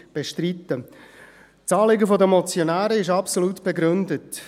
Das Anliegen der Motionäre ist absolut begründet.